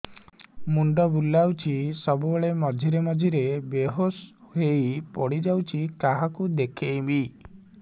ମୁଣ୍ଡ ବୁଲାଉଛି ସବୁବେଳେ ମଝିରେ ମଝିରେ ବେହୋସ ହେଇ ପଡିଯାଉଛି କାହାକୁ ଦେଖେଇବି